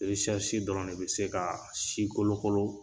Eresɛrisi dɔrɔn de be se ka si kolokolo